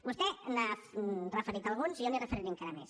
vostè n’ha referit alguns i jo li’n referiré encara més